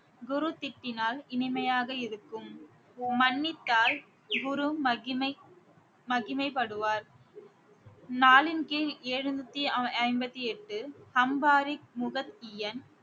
குரு திட்டினால் இனிமையாக இருக்கும் மன்னித்தால் குரு மகிமை மகிமைப்படுவார் நாலின் கீழ் எழுநூத்தி ஐ~ ஐம்பத்தி எட்டு அம்பாரி